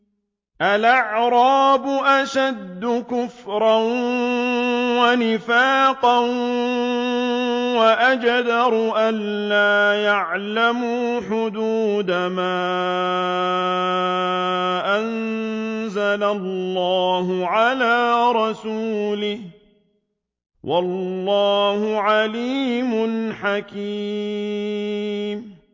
الْأَعْرَابُ أَشَدُّ كُفْرًا وَنِفَاقًا وَأَجْدَرُ أَلَّا يَعْلَمُوا حُدُودَ مَا أَنزَلَ اللَّهُ عَلَىٰ رَسُولِهِ ۗ وَاللَّهُ عَلِيمٌ حَكِيمٌ